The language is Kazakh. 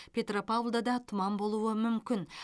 петропавлда да тұман болуы мүмкін